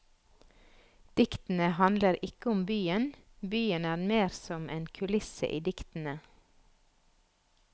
Diktene handler ikke om byen, byen er mer som en kulisse i diktene.